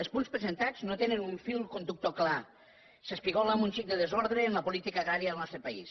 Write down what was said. els punts presentats no tenen un fil conductor clar s’espigola amb un xic de desordre en la política agrària del nostre país